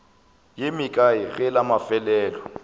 ye mekae ge la mafelelo